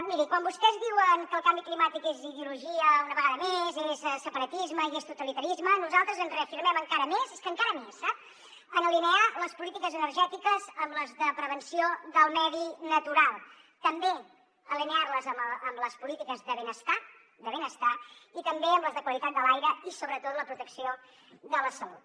miri quan vostès diuen que el canvi climàtic és ideologia una vegada més és separatisme i és totalitarisme nosaltres ens reafirmem encara més és que encara més sap en alinear les polítiques energètiques amb les de prevenció del medi natural també alinear les amb les polítiques de benestar de benestar i també amb les de qualitat de l’aire i sobretot la protecció de la salut